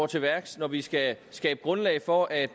til værks når vi skal skabe grundlag for at